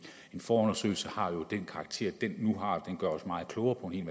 en forundersøgelse har jo den karakter den nu har den gør os meget klogere på en